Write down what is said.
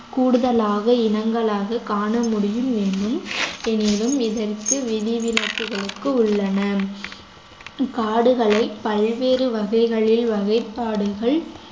கூடுதலாக இனங்களாக காண முடியும் என்னும் எனினும் இதற்கு விதிவிலக்கு உள்ளன காடுகளை பல்வேறு வகைகளில் வகைப்பாடுகள்